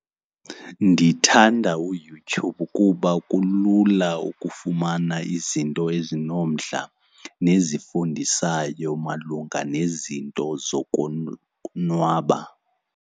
Ndithanda uYouTube kuba kulula ukufumana izinto ezinomdla nezifundisayo malunga nezinto nwaba.